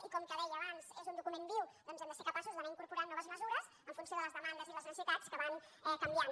i com que deia abans és un document viu doncs hem de ser capaços d’anar incorporant noves mesures en funció de les demandes i les necessitats que van canviant